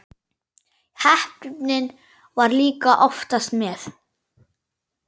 Heppnin var líka oftast með.